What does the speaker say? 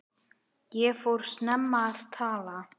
Ég fór snemma að tala.